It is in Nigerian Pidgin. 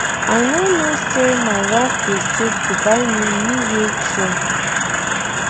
I no know say my wife dey save to buy me new wheel chair